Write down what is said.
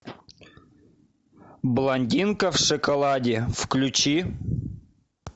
блондинка в шоколаде включи